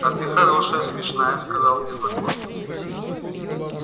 а ты хорошая смешная сказал незнакомец